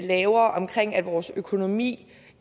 vores økonomi